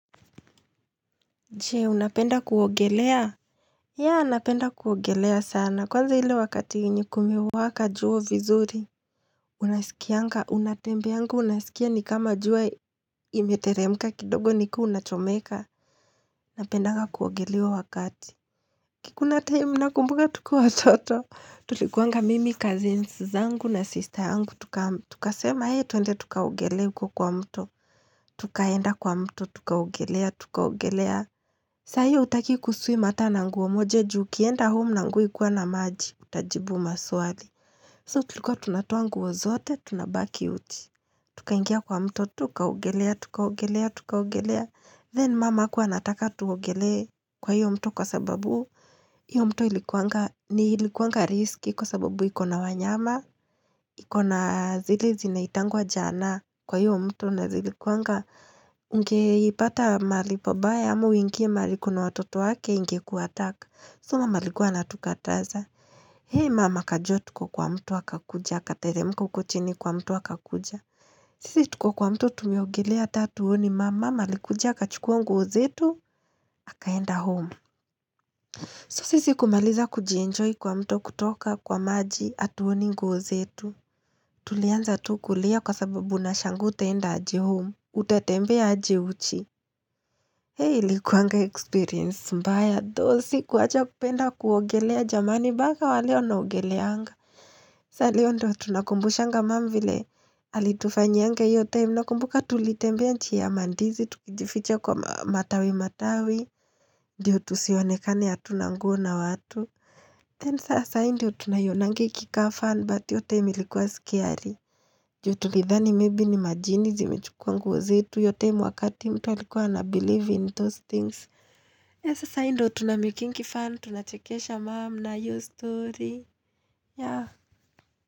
Je unapenda kuogelea Yeah napenda kuogelea sana kwanza ile wakati yenye kumewaka jua vizuri Unasikianga unatembeanga unasikia ni kama jua imeteremka kidogo nika unachomeka napendanga kuogelea huo wakati Kuna time nakumbuka tukiwa watoto Tulikuwanga mimi cousins zangu na sister yangu tuka tukasema tuende tukaogelee huko kwa mto Tukaenda kwa mto tukaogelea tukaogelea saa hiyo hutaki kuswim hata na nguo moja juu ukienda home na nguo ikuwe na maji utajibu maswali. So tulikuwa tunatoa nguo zote tunabaki uchi. Tukaingia kwa mto tukaogelea tukaogelea tukaogelea. Then mum hakuwa anataka tuogelee kwa hiyo mto kwa sababu hiyo mto ilikuwanga ni ilikuwanga risky kwa sababu iko na wanyama. Iko na zile zinaitangwa jana kwa hiyo mto na zilikuwanga. Ungeipata mahali pabaya ama uingie mahali kuna watoto wake ingeku attack. So mum alikuwa anatukataza. Heeh mum akajua tuko kwa mto akakuja akateremka uko chini kwa mto akakuja. Sisi tuko kwa mto tumeogelea hata hatuoni mum. Alikuja akachukua nguo zetu. Akaenda home sisi kumaliza kuji enjoy kwa mto kutoka kwa maji hatuoni nguo zetu. Tulianza tu kulia kwa sababu unashangaa utaenda aje home. Utatembea aje uchi. Ilikuwanga experience mbaya though sikuacha kupenda kuogelea jamani mpaka wa leo naogeleanga. Saa leo ndio tunakumbushanga mum vile alitufanyianga hio time nakumbuka tulitembea njia ya mandizi tukijificha kwa matawi matawi. Ndio tusionekane hatuna nguo na watu. Then saa sai ndio tunaionanga ikakaa fun but hio time ilikuwa scary. Juu tulidhani maybe ni majini zimechukua nguo zetu hio time wakati mtu alikuwa ana believe in those things sasa sai ndio tunamake ngi fun Tunachekesha mum na hio stori Yeah.